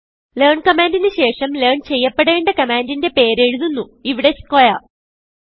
learn കമാൻഡിന് ശേഷം ലെയർൻ ചെയ്യപ്പെടേണ്ട കമാൻഡിന്റെ പേര് എഴുതുന്നു ഇവിടെ സ്ക്വയർ